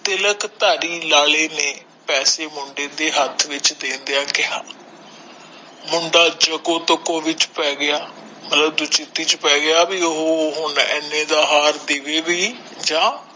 ਤਿਲਕ ਥਾਰੀ ਲਾਲੇ ਨੇ ਪੈਸੇ ਮੁੰਡੇ ਦੇ ਹੱਥ ਵਿਚ ਦੇਂਦਿਆਂ ਕੇਹਾ ਮੁੰਡਾ ਜੂਕੁ ਤੁਕੁ ਵਿਚ ਪੈ ਗਯਾ ਮਤਲਬ ਉਹ ਏਨੇ ਦਾ ਹਾਰ ਦੇਵੇ ਭੀ ਜਾ